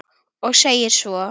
Og segir svo